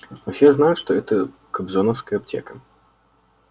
но все знают что это кобзоновская аптека